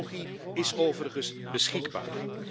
De technologie is overigens beschikbaar!